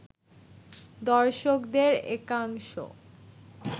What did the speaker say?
দর্শকদের একাংশ